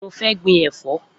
Mo fẹ́ gbin ẹ̀fọ́